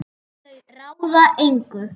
Og þau ráða engu.